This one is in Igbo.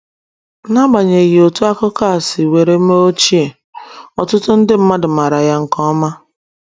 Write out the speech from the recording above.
N’agbanyeghị otú akụkọ a siworo mee ochie, ọtụtụ nde mmadụ maara ya nke ọma.